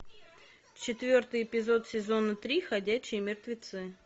четвертый эпизод сезона три ходячие мертвецы